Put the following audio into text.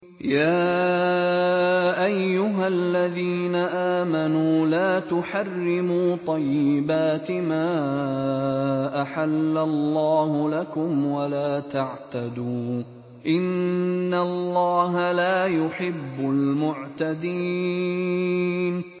يَا أَيُّهَا الَّذِينَ آمَنُوا لَا تُحَرِّمُوا طَيِّبَاتِ مَا أَحَلَّ اللَّهُ لَكُمْ وَلَا تَعْتَدُوا ۚ إِنَّ اللَّهَ لَا يُحِبُّ الْمُعْتَدِينَ